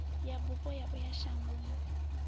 ya bufho ya uya shangoni